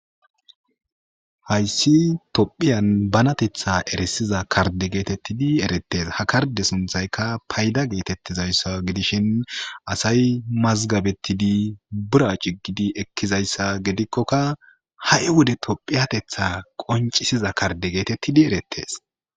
Hayisi tophphiyan banateththa erisiza karide getetidi eretese ha karideza sunththayikka payida getetizayisa giddishini asayi mazigabetid bira cigid ekizayisa gidikkoka hai Wode tophphiyateththa qoncisiza karide getetidi eretese